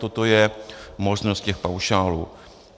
Toto je možnost těch paušálů.